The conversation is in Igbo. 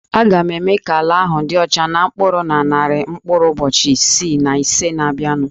A ga-eme ka ala ahụ dị ọcha na mkpụrụ na narị mkpụrụ ụbọchị isii na ise na-abịanụ